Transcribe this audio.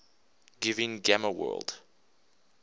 giving gamma world